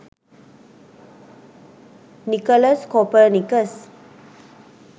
nicolaus copernicus